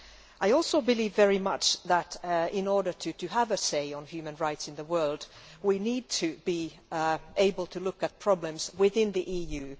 I also believe very much that in order to have a say on human rights in the world, we need to be able to look at problems within the EU.